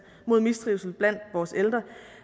mod mistrivsel blandt vores ældre